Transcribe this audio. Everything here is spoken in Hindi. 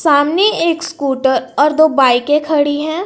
सामने एक स्कूटर और दो बाइकें खड़ी हैं।